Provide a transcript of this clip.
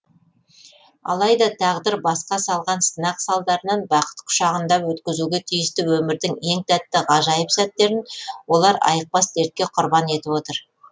алайда тағдыр басқа салған сынақ салдарынан бақыт құшағында өткізуге тиісті өмірдің ең тәтті ғажайып сәттерін олар айықпас дертке құрбан етіп отыр